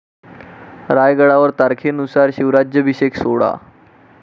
रायगडावर तारखेनुसार शिवराज्याभिषेक सोहळा